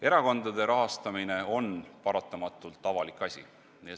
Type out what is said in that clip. Erakondade rahastamine on paratamatult avalik asi.